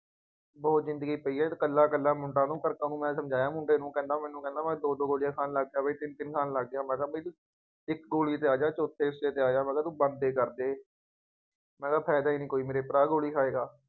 ਬਹੁਤ ਜ਼ਿੰਦਗੀ ਪਈ ਹੈ, ਇਕੱਲਾ ਇਕੱਲਾਂ ਮੁੰਡਾ ਤੂੰ, ਮੈਂ ਸਮਝਾਇਆ ਮੁੰਡੇ ਨੂੰ ਕਹਿੰਦਾ ਮੈਨੰ ਕਹਿੰਦਾ ਮੈਂ ਦੋ ਦੌ ਗੋਲੀਆਂ ਖਾਣ ਲੱਗ ਗਿਆ, ਬਈ ਤਿੰਂਨ ਤਿੰਨ ਖਾਣ ਲੱਗ ਗਿਆ, ਮੈਂ ਕਿਹਾ ਮੇਰੀ ਇੱਕੋ ਚੌਥੇ ਹਿੱੱਸੇ ਤੇ ਆ ਜਾ ਮੈਂ ਕਿਹਾ ਤੂੰ ਬਣਦੇ ਕਰਦੇ, ਮੈਂ ਕਿਹਾ ਫਾਇਦਾ ਹੀ ਨਹੀਂ ਕੋਈ ਮੇਰੇ ਭਰਾ ਗੋ਼ਲੀ ਖਾਏ ਦਾ,